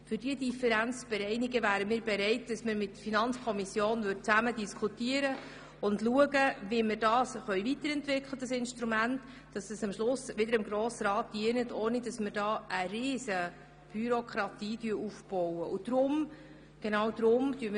Um diese Differenzen zu bereinigen, wären wir bereit, uns mit der Finanzkommission zusammenzusetzen und darüber zu diskutieren, wie wir dieses Instrument so weiterentwickeln können, dass es am Schluss immer noch dem Grossen Rat dient und ohne riesige Bürokratie auskommt.